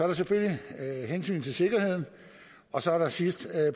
der selvfølgelig hensynet til sikkerheden og så er der sidst